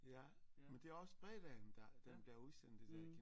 Ja men det er også fredagen der den bliver udsendt det der